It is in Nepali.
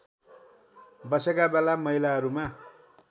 बसेका बेला महिलाहरूमा